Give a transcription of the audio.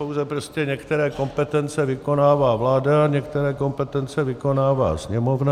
Pouze prostě některé kompetence vykonává vláda, některé kompetence vykonává Sněmovna.